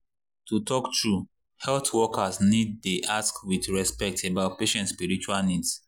to talk true health workers need dey ask with respect about patient spiritual needs.